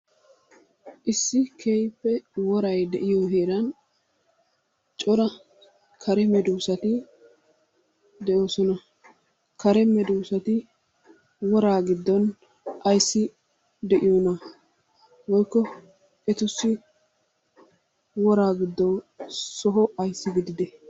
Issi keehippe woray de'iyo heeran cora kare meddoosati de'oosona. Kare meddoosati woraa giddon ayssi de'iyonaa woykko etussi woraa giddoy soho ayssi gididee?